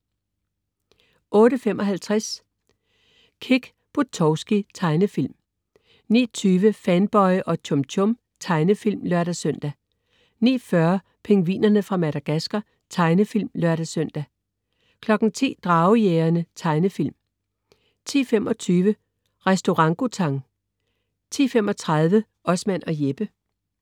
08.55 Kick Buttowski. Tegnefilm 09.20 Fanboy og Chum Chum. Tegnefilm (lør-søn) 09.40 Pingvinerne fra Madagascar. Tegnefilm (lør-søn) 10.00 Dragejægerne. Tegnefilm 10.25 Restaurangutang 10.35 Osman og Jeppe